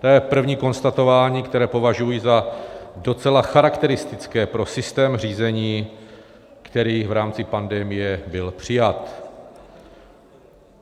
To je první konstatování, které považuji za docela charakteristické pro systém řízení, který v rámci pandemie byl přijat.